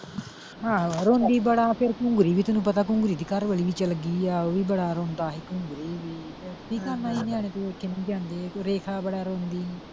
ਆਹੋ ਰੋਂਦੀ ਬੜਾ ਫਿਰ ਵੀ ਤੈਨੂੰ ਪਤਾ ਘੁੰਗਰੀ ਦੀ ਘਰਵਾਲੀ ਵੀ ਚਲਗੀ ਆ ਉਹ ਵੀ ਬੜਾ ਰੋਂਦਾ ਸੀ ਘੁੰਗਰੀ ਵੀ ਰੇਖਾ ਬੜਾ ਰੋਂਦੀ ਸੀ।